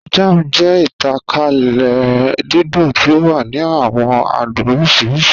Jam jẹ̀ ìtànkálẹ̀ dídùn tí o wà ní àwọn àdùn oríṣiríṣì.